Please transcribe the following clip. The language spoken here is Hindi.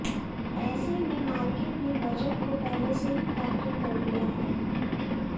ऐसे में मार्केट ने बजट को पहले से ही फैक्टर कर लिया है